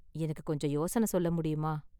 எனக்கு கொஞ்சம் யோசனை சொல்ல முடியுமா?